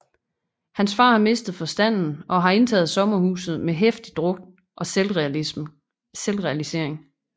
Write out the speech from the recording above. Hans far har mistet forstanden og har indtaget sommerhuset med heftig druk og selvrealisering